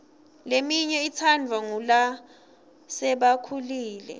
leminye itsandvwa ngulasebakhulile